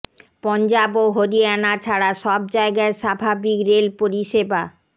পঞ্জাব ও হরিয়ানা ছাড়া সব জায়গায় স্বাভাবিক রেল পরিষেবা